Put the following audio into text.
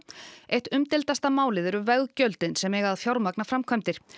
eitt umdeildasta málið eru veggjöldin sem eiga að fjármagna framkvæmdir